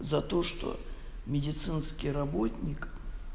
за то что медицинский работник